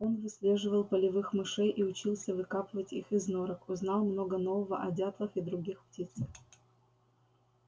он выслеживал полевых мышей и учился выкапывать их из норок узнал много нового о дятлах и других птицах